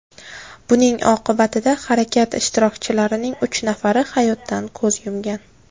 Buning oqibatida harakat ishtirokchilarining uch nafari hayotdan ko‘z yumgan.